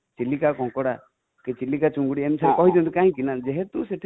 ଚିଲିକା କଙ୍କଡା କି ଚିଲିକା ଚିଙ୍ଗୁଡ଼ି ଏମିତି sir କହିଦିଅନ୍ତି ଯେହେତୁ କି